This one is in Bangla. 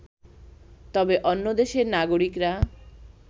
তবে অন্য দেশের নাগরিকরা